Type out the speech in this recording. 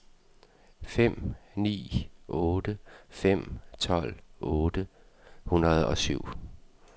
fem ni otte fem tolv otte hundrede og syv